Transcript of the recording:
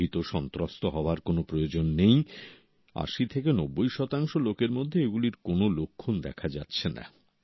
ভীতসন্ত্রস্ত হওয়ার কোন প্রয়োজন নেই 80 থেকে 90 শতাংশ লোকের মধ্যে এগুলির কোন লক্ষণ দেখা যাচ্ছে না